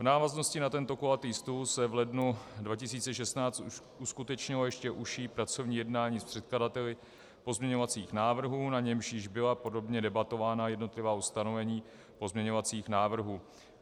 V návaznosti na tento kulatý stůl se v lednu 2016 uskutečnilo ještě užší pracovní jednání s předkladateli pozměňovacích návrhů, na němž již byla podrobně debatována jednotlivá ustanovení pozměňovacích návrhů.